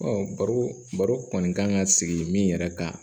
baro baro kɔni kan ka sigi min yɛrɛ kan